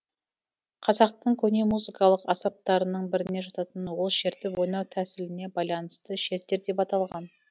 қазақтың көне музыкалық аспаптарының біріне жататын ол шертіп ойнау тәсіліне байланысты шертер деп аталған